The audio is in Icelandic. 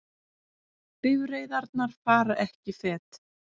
Bifreiðarnar fara ekki fet